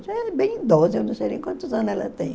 Já era bem idosa, eu não sei nem quantos anos ela tem.